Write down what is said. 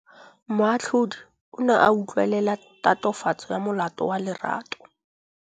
Moatlhodi o ne a utlwelela tatofatsô ya molato wa Lerato.